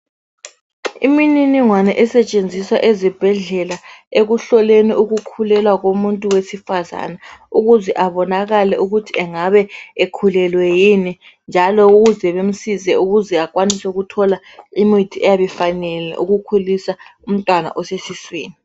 Imininingwane esetshenziswa ezibhedlela ekuhloleni ukukhulelwa komuntu wesifazana ukuze abonakale ukuthi engabe ekhulelwe yini njalo ukuze bemsize ukuze akwanise ukuthola imithi eyabifanele ukukhulisa umntwana osesiswini.